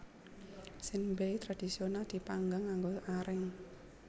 Senbei tradhisional dipanggang nganggo areng